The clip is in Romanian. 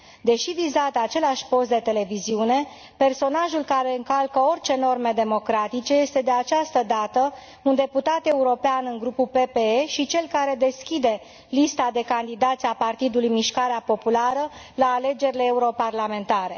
Deși vizat de același post de televiziune, personajul care încalcă orice norme democratice este, de această dată, un deputat european în Grupul PPE și cel care deschide lista de candidați a Partidului Mișcarea Populară la alegerile europarlamentare.